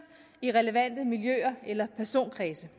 i relevante miljøer eller personkredse